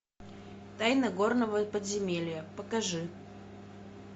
тайна горного подземелья покажи